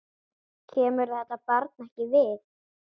Kemur þetta barn ekkert við.